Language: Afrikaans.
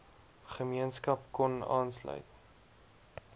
gemeenskap kon aanlsuit